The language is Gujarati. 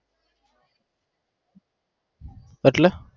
એટલે?